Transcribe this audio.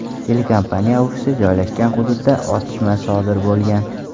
Telekompaniya ofisi joylashgan hududda otishma sodir bo‘lgan.